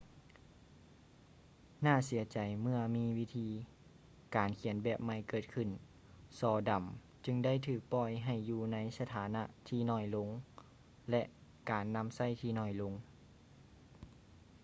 ໜ້າເສຍໃຈເມື່ອມີວິທີການຂຽນແບບໃໝ່ເກີດຂື້ນ ສໍດຳຈຶ່ງໄດ້ຖືກປ່ອຍໃຫ້ຢູ່ໃນສະຖານະທີ່ໜ້ອຍລົງ ແລະ ການນຳໃຊ້ທີ່ໜ້ອຍລົງ